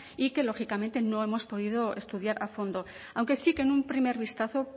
y que lógicamente no hemos podido estudiar a fondo aunque sí que en un primer vistazo